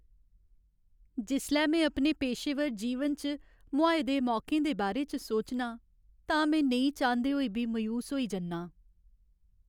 जिसलै में अपने पेशेवर जीवन च मुहाए दे मौकें दे बारे च सोचनां तां में नेईं चांह्दे होई बी मायूस होई जन्नां।